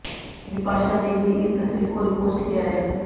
बिपाशा ने भी इस तस्वीर को रिपोस्ट किया है